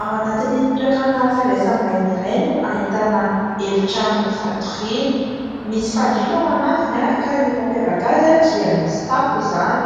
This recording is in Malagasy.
Ao anatin'ny toerana fandraisam-bahiny iray ,no ahitana efitrano fatoriana. Misy fandriana ao anatiny; ka ny mampiavaka azy, dia misy tafo izany;